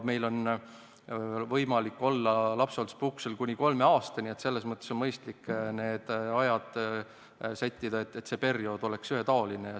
Meil on võimalik olla lapsehoolduspuhkusel kuni kolme aastani, selles mõttes on mõistlik need ajad sättida nii, et see periood oleks ühetaoline.